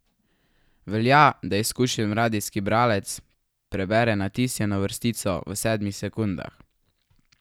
Velja, da izkušen radijski bralec prebere natisnjeno vrstico v sedmih sekundah.